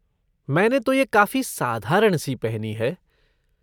मैंने तो ये काफ़ी साधारण सी पहनी है।